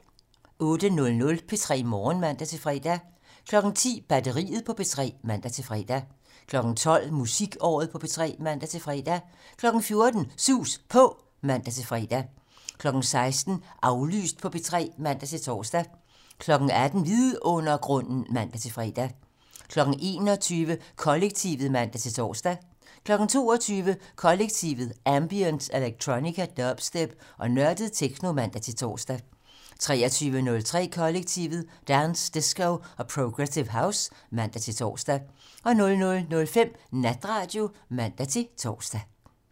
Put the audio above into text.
08:00: P3 Morgen (man-fre) 10:00: Batteriet på P3 (man-fre) 12:00: Musikåret på P3 (man-fre) 14:00: Sus På (man-fre) 16:00: Aflyst på P3 (man-tor) 18:00: Vidundergrunden (man-fre) 21:00: Kollektivet (man-tor) 22:00: Kollektivet: Ambient, electronica, dubstep og nørdet techno (man-tor) 23:03: Kollektivet: Dance, disco og progressive house (man-tor) 00:05: Natradio (man-tor)